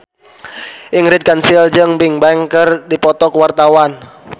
Ingrid Kansil jeung Bigbang keur dipoto ku wartawan